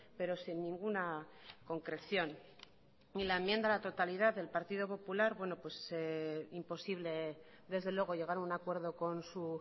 pero sin ninguna concreción ni la enmienda a la totalidad del partido popular imposible desde luego llegar a un acuerdo con su